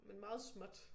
Men meget småt